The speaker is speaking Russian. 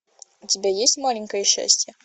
у тебя есть маленькое счастье